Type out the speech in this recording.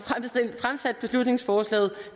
fremsat beslutningsforslaget